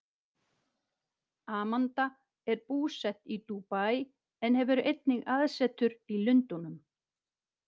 Amanda er búsett í Dúbaí en hefur einnig aðsetur í Lundúnum.